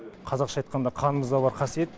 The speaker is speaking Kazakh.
қазақша айтқанда қанымызда бар қасиет